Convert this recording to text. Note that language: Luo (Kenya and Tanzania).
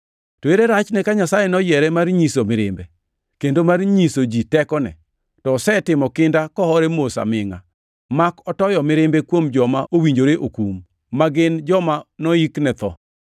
To ere rachne ka Nyasaye noyiere mar nyiso mirimbe, kendo mar nyiso ji tekone, to osetimo kinda kohore mos amingʼa mak otoyo mirimbe kuom joma owinjore okum, ma gin joma noyik ne tho?